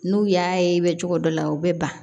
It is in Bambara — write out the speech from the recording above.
N'u y'a ye cogo dɔ la u bɛ ban